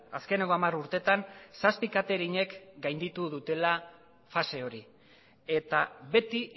azkeneko hamar urteetan zazpi katering ek gainditu dutela fase hori eta beti